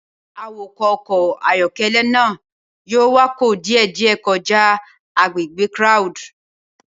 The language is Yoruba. Awakọ̀ ọkọ̀ ayọ́kẹ́lẹ́ náà yóò wakọ̀ díẹ̀díẹ̀ kọjá agbègbè crowed.